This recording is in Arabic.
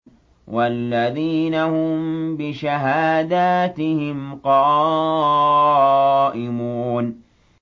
وَالَّذِينَ هُم بِشَهَادَاتِهِمْ قَائِمُونَ